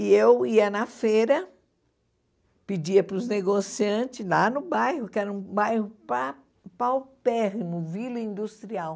E eu ia na feira, pedia pros negociantes lá no bairro, que era um bairro pa paupérrimo, vila industrial.